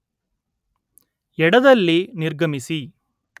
ಎಡ ದಲ್ಲಿ ನಿರ್ಗಮಿಸಿ